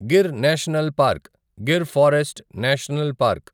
Gir national park Gir forest national park